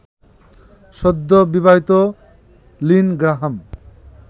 সদ্যবিবাহিত Lynn Graham